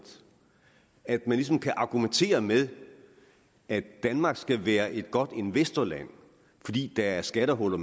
at der ligesom kan argumenteres med at danmark skal være et godt investeringsland fordi der er skattehuller